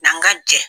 N'an ka jɛ